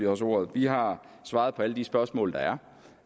også ordet vi har svaret på alle de spørgsmål der